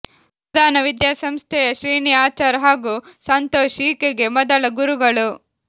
ಸುದಾನ ವಿದ್ಯಾಸಂಸ್ಥೆಯ ಶ್ರೀನಿ ಆಚಾರ್ ಹಾಗೂ ಸಂತೋಷ್ ಈಕೆಗೆ ಮೊದಲ ಗುರುಗಳು